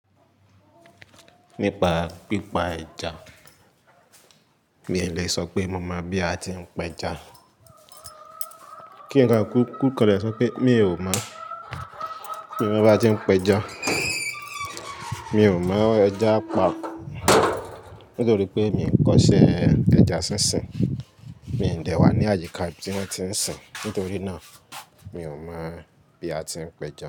Nípa pípa ẹja, mi ò lè sọ pé mo mọ̀ bí a ti ń pe ẹja. Kí n kọ́ kúkú kọ́ le sọ pé mi ò mọ̀. Mi ò mọ̀ bá ti ń pe ẹja. Mi ò mọ̀ ẹja pa nítorí pé mi ò ń kọ́ṣẹ́ ẹja sínsìn. Mi dè wá ní àyíká tí wọ́n ti ń sìn. Nítorí náà mi ò mọ̀ bí a ti ń pe ẹja.